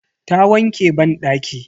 Ta wanke banɗaki.